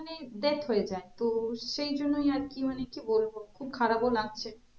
মানে death হয়ে যায় তো সেই জন্যই আর কি মানে, কি বলবো খুব খারাপ ও লাগছে